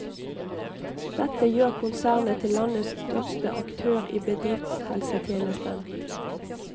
Dette gjør konsernet til landets største aktør i bedriftshelsetjenesten.